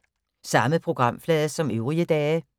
Samme programflade som øvrige dage